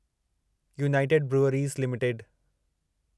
United breweries limited